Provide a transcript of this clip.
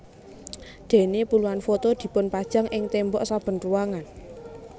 Déné puluhan foto dipunpajang ing témbok saben ruangan